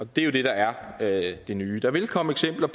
det er jo det der er det det nye der vil komme eksempler